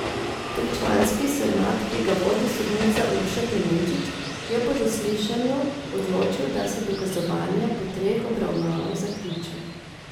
Tričlanski senat, ki ga vodi sodnica Urša Klemenčič, je po zaslišanju odločil, da se dokazovanje po treh obravnavah zaključi.